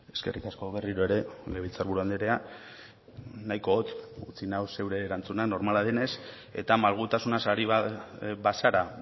eskerrik asko berriro ere legebiltzar buru andrea nahiko hotz utzi nau zure erantzunak normala denez eta malgutasunaz ari bazara